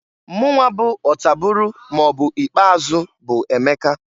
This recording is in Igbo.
Mụnwa bụ ọtabụrụ maọbụ ikpeazụ bu Emeka.